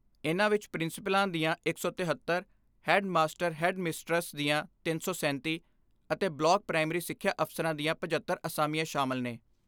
ਇਨ੍ਹਾਂ ਵਿਚ ਪ੍ਰਿੰਸੀਪਲਾਂ ਦੀਆਂ ਇੱਕ ਸੌ ਤਿਹੱਤਰ, ਹੈੱਡ ਮਾਸਟਰ ਜਾਂ ਹੈੱਡ ਮਿਸਟਰਸ ਦੀਆਂ ਤਿੰਨ ਸੌ ਸੈਂਤੀ ਅਤੇ ਬਲਾਕ ਪ੍ਰਇਮਰੀ ਸਿੱਖਿਆ ਅਫ਼ਸਰਾਂ ਦੀਆਂ ਪਝੱਤਰ ਅਸਾਮੀਆਂ ਸ਼ਾਮਲ ਨੇ।